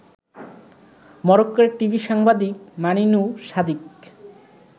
মরক্কোর টিভি সাংবাদিক মানিনু সাদিক